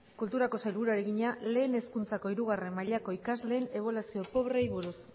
kulturako sailburuari egina lehen hezkuntzako hirugarrena mailako ikasleen ebaluazio probei buruz